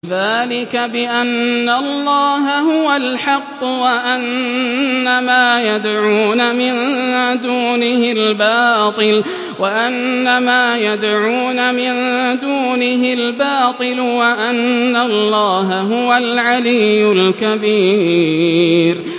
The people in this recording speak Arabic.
ذَٰلِكَ بِأَنَّ اللَّهَ هُوَ الْحَقُّ وَأَنَّ مَا يَدْعُونَ مِن دُونِهِ الْبَاطِلُ وَأَنَّ اللَّهَ هُوَ الْعَلِيُّ الْكَبِيرُ